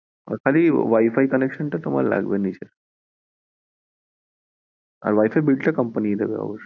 আর খালি Wi-Fi connection টা তোমার লাগবে নিজের আর Wi-Fi bill টা company ই দেবে অবশ্য